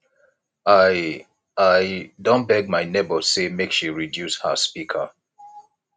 i i don beg my nebor sey make she reduce her speaker